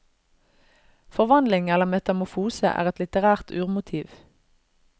Forvandling eller metamorfose er et litterært urmotiv.